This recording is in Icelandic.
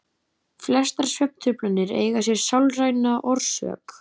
Flestar svefntruflanir eiga sér sálræna orsök.